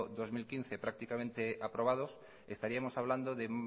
dos mil quince prácticamente aprobados estaríamos hablando de